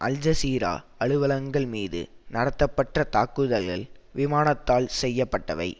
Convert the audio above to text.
அல் Jazeera அலுவலகங்கள் மீது நடத்தப்பட்ட தாக்குதல்கள் விமானத்தால் செய்ய பட்டவை